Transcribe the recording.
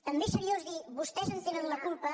també és seriós dir vostès en tenen la culpa